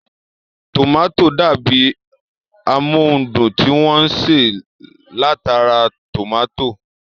Tòmátò dàbi amóhundùn tí wọ́n ṣe látara tòmátò